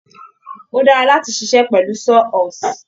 Ó dára láti ṣiṣẹ́ pẹ̀lú Saw horse